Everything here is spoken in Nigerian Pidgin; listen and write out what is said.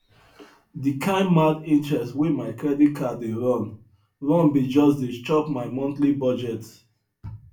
di kain mad interest wey my credit card dey run run bin just dey chop my monthly budget